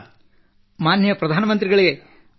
ಮಾನ್ಯ ಪ್ರಧಾನ ಮಂತ್ರಿಗಳೇ ವಣಕ್ಕಂ